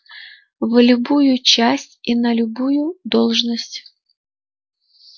в любую часть и на любую должность